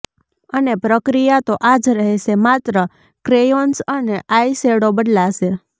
અને પ્રક્રિયા તો આજ રહેશે માત્ર ક્રેયોન્સ અને આઈ શેડો બદલાશે